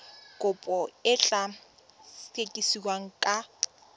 kopo e tla sekasekiwa ka